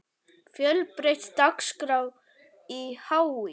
Fjölbreytt dagskrá í HÍ